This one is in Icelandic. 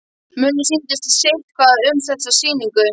Mönnum sýndist sitthvað um þessa sýningu.